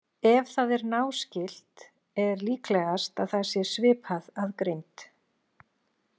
Ef það er náskylt er líklegast að það sé svipað að greind.